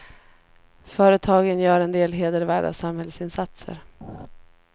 Företagen gör en del hedervärda samhällsinsatser.